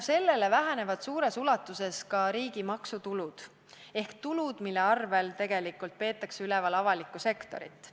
Selle tõttu vähenevad suures ulatuses ka riigi maksutulud ehk tulud, mille arvel tegelikult peetakse üleval avalikku sektorit.